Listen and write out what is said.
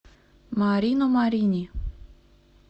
марино марини